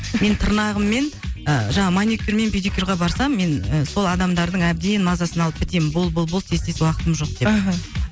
мен тырнағым мен ы жаңағы маникюр мен педикюрға барсам мен сол адамдардың әбден мазасын алып бітемін бол бол бол тез тез уақытым жоқ деп аха